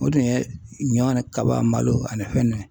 O de ye ɲɔ ni kaba malo ani fɛn ninnu ye